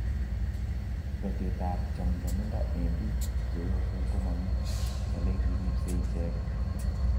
Betet ap chamchamindo eng biik cheosen ko mami ole kiripsei icheget